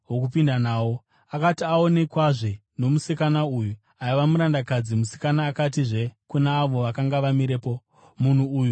Akati aonekwazve nomusikana uyu aiva murandakadzi, musikana akatizve kuna avo vakanga vamirepo, “Munhu uyu ndomumwe wavo.”